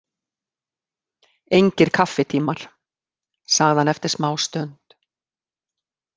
Engir kaffitímar, sagði hann eftir smástund.